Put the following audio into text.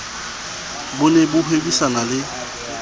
bo ne bo hwebisana le